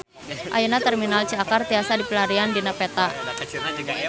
Ayeuna Terminal Ciakar tiasa dipilarian dina peta